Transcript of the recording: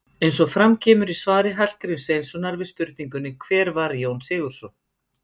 Eins og fram kemur í svari Hallgríms Sveinssonar við spurningunni Hver var Jón Sigurðsson?